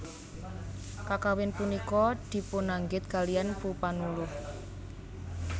Kakawin punika dipunanggit kaliyan Mpu Panuluh